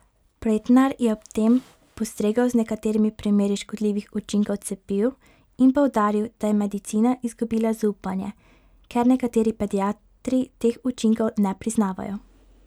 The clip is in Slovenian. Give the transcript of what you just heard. Pretnar je ob tem postregel z nekaterimi primeri škodljivih učinkov cepiv in poudaril, da je medicina izgubila zaupanje, ker nekateri pediatri teh učinkov ne priznavajo.